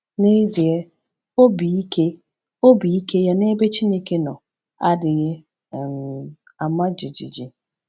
N’ezie, obi ike obi ike ya n’ebe Chineke nọ adịghị um ama jijiji.